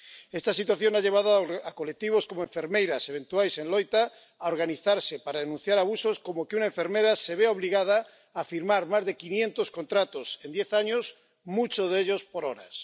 Esta situación ha llevado a colectivos como Enfermeiras Eventuais en Loita a organizarse para denunciar abusos, como que una enfermera se vea obligada a firmar más de quinientos contratos en diez años, muchos de ellos por horas.